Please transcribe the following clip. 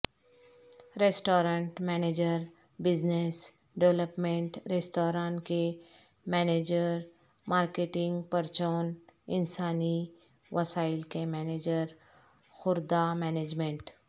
restaurant manager business development ریستوران کے manager marketing پرچون انسانی وسائل کے مینیجر خوردہ مینجمنٹ